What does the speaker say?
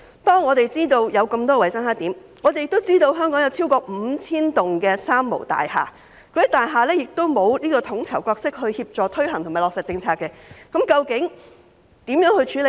當我們知道有那麼多衞生黑點，也知道香港有超過 5,000 棟"三無大廈"，由於那些大廈欠缺統籌角色協助推行和落實政策，當局如何處理呢？